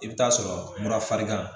I bɛ taa sɔrɔ mura farinna